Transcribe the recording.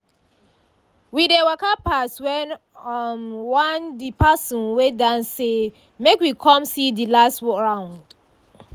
we dey waka pass when um one de person wey dance say make we come see de last round.